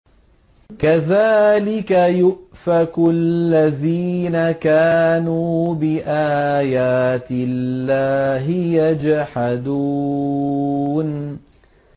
كَذَٰلِكَ يُؤْفَكُ الَّذِينَ كَانُوا بِآيَاتِ اللَّهِ يَجْحَدُونَ